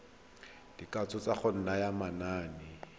dikatso tsa go naya manane